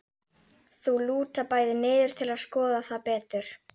Þau lúta bæði niður til að skoða það betur.